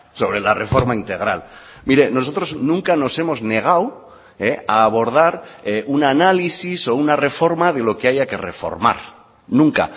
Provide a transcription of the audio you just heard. sobre la reforma integral mire nosotros nunca nos hemos negado a abordar un análisis o una reforma de lo que haya que reformar nunca